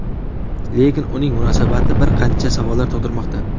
Lekin uning munosabati bir qancha savollar tug‘dirmoqda.